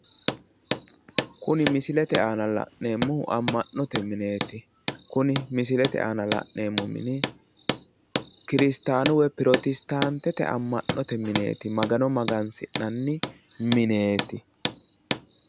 Kuni misilete aana la'neemmohu amma'note mineeti. kuni misilete aana la'neemmo mini kirisataanu woyi pirotestaantete amma'note mineeti. Magano magansi'nanni mineeti.